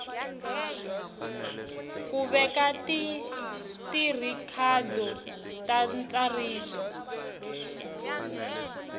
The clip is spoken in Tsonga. ku veka tirhikhodo ta ntsariso